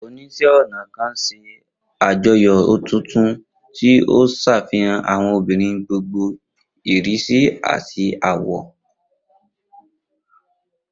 Oníṣẹ́-ọnà kan ṣe àjọyọ̀ ọ̀tọ̀ọ̀tọ̀, tí ó ń ṣàfihàn àwọn obìnrin gbogbo ìrísí àti àwọ̀.